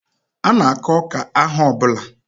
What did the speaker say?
Ana akụ ọka ahọ ọbula.